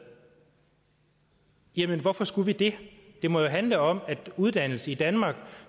jamen hvorfor skulle vi det det må jo handle om at uddannelse i danmark